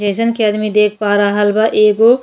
जईसन कि अदमी देख पा रहल बा एगो --